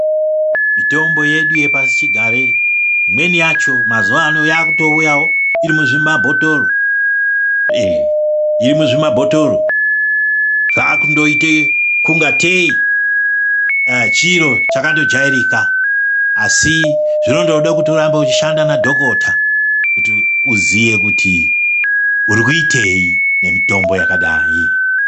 Mitombo yedu yepasichigare imweni yacho mazuva ano yakutouyawo iri muzvimabhotoro, zvakundoita kungatei chiro chakandojairika asi zvinondoda kuti urambe uchindoshanda nadhokota kuti uziye kuti urikuitei nemitombo yakadai.